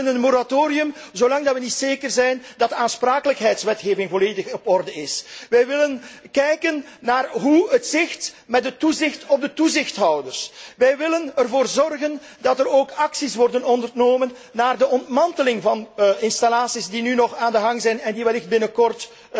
Wij willen een moratorium zolang we niet zeker zijn dat de aansprakelijkheidswetgeving volledig in orde is. Wij willen nagaan hoe het zit met het toezicht op de toezichthouders. Wij willen ervoor zorgen dat er ook acties worden ondernomen voor de ontmanteling van installaties die nu nog operationeel zijn en die wellicht binnenkort